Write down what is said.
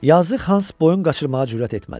Yazı Hans boyun qaçırmağa cürət etmədi.